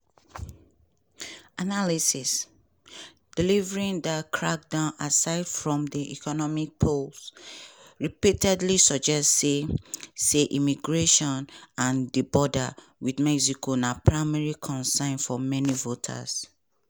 analysis: delivering di crackdown aside from di economy polls repeatedly suggest say say immigration and di border wit mexico na primary concerns for many voters.